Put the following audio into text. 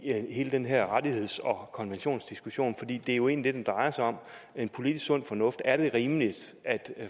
hele den her rettigheds og konventionsdiskussion fordi det jo egentlig den drejer sig om politisk sund fornuft er det rimeligt at